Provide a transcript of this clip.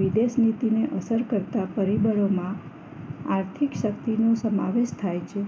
વિદેશનીતિને અસર કરતા પરિબળોમાં આર્થિક શક્તિ નું સમાવેશ થાય છે